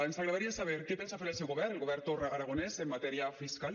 ens agradaria saber què pensa fer el seu govern el govern torra aragonès en matèria fiscal